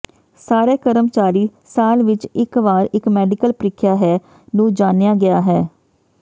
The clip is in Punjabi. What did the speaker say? ਸਾਰੇ ਕਰਮਚਾਰੀ ਸਾਲ ਵਿਚ ਇਕ ਵਾਰ ਇਕ ਮੈਡੀਕਲ ਪ੍ਰੀਖਿਆ ਹੈ ਨੂੰ ਜਾਣਿਆ ਗਿਆ ਹੈ